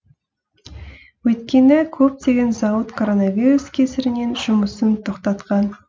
өйткені көптеген зауыт коронавирус кесірінен жұмысын тоқтатқан